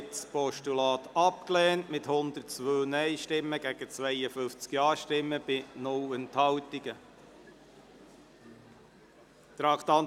Sie haben das Postulat mit 102 Nein- gegen 52 Ja-Stimmen bei 0 Enthaltungen abgelehnt.